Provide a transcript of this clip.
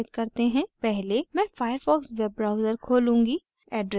पहले मैं firefox web browser खोलूँगी